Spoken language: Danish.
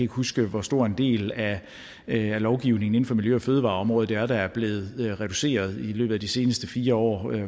huske hvor stor en del af lovgivningen inden for miljø og fødevareområdet det er der er blevet reduceret i løbet af de seneste fire år